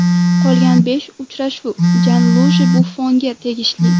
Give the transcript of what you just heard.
Qolgan besh uchrashuv Janluiji Buffonga tegishli.